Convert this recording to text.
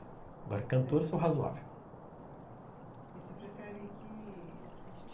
Agora, cantor, sou razoável. E você prefere que... que esti